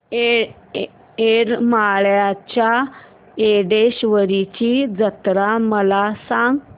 येरमाळ्याच्या येडेश्वरीची जत्रा मला सांग